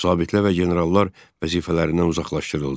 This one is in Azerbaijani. Zabitlər və generallar vəzifələrindən uzaqlaşdırıldı.